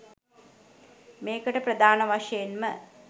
මේකට ප්‍රධාන වශයෙන්ම